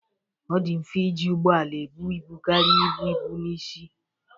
Ọ dị mfe iji ụgbọ ala ebu ibu karịa ibu ibu n'isi